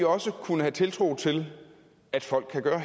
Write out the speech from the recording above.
også kunne have tiltro til at folk kan gøre